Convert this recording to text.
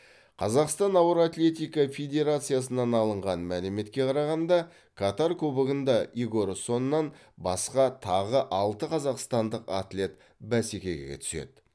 қазақстан ауыр атлетика федерациясынан алынған мәліметке қарағанда катар кубогында игор соннан басқа тағы алты қазақстандық атлет бәсекеге түседі